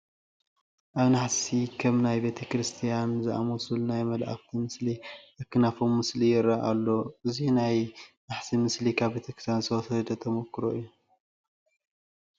ኣብ ናሕሲ ከም ናይ ቤተ ክርስቲያን ዝኣምሰሉ ናይ መላእክት ምስ ኣክናፎም ምስሊ ይርአ ኣሎ፡፡ እዚ ናይ ናሕሲ ምስሊ ካብ ቤተ ክርስቲያን ዝተወሰደ ተመኩሮ እዩ፡፡